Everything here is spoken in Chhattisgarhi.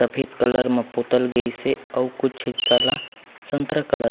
सफ़ेद कलर मै पोतल गई से और कुछ इस तरह संतरा कलर --